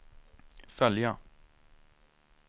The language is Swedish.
följa